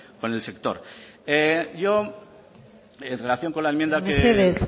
con el sector yo en relación con la enmienda mesedez